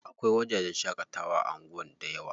Akwai wajajen shaƙatawa a anguwan dayawa.